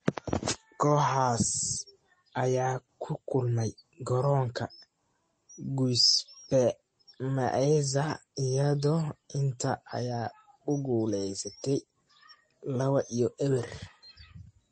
Kooxahaas ayaa ku kulmay garoonka Giuseppe Meazza, iyadoo Inter ay ku guuleysatay 2-0.